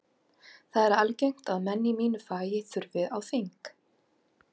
Það er algengt að menn í mínu fagi þurfi á þing.